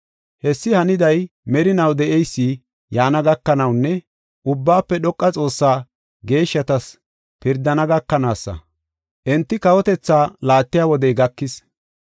Hessi haniday, Merinaw De7eysi yaana gakanawunne Ubbaafe Dhoqa Xoossaa geeshshatas pirdana gakanaasa; enti kawotethaa laattiya wodey gakis.